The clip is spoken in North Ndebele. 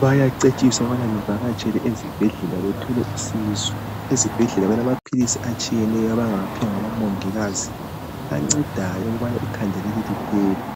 bayacetshiswa ukubana bevakatshele ezibhedlela bethole usizo ezibhedlela balamaphilisi atshiyeneyo abangawaphiwa ngabomongikazi ancedayo ukubana ikhanda leli liphele